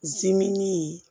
Zimini